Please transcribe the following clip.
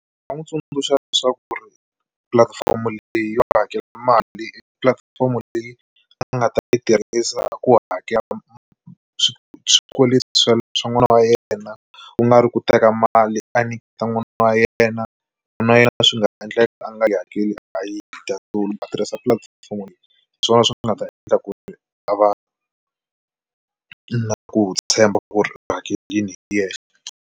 Ndzi nga n'wi tsundzuxa leswaku ri pulatifomo leyi hakela mali, pulatifomo leyi a nga ta yi tirhisa ku hakela swikweleti swa swa n'wana wa yena ku nga ri ku teka mali a nyiketa n'wana wa yena na yena swi nga endleka a nga yi hakeli a yi dya a tirhisa pulatifomo hi swona swi nga ta endla ku ri a va na ku tshemba ku ri hakelini hi yexe.